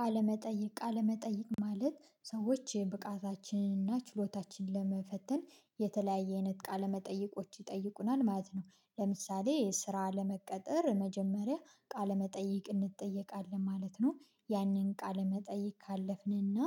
ቃለመጠይቅ ቃለመጠይቅ ማለት ሰዎች የብቃታችንን እና ችሎታችንን ለመፈተን የተለያየ አይነት ቃለመጠይቆች ይጠይቁናል ማለት ነው። ለምሳሌ ስራ ለመቀጠር መጀመሪያ ቃለመጠይቅ እንጠየቃለን ማለት ነው። ያንን ቃለመጠይቅ ካለፍንና